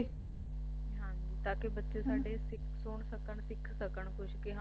ਹਾਂ ਜੀ ਤਾਂਕਿ ਬੱਚੇ ਸਾਡੇ ਸੁਣ ਸਕਣ ਸਿੱਖ ਸਕਣ ਕੁਝ ਕਿ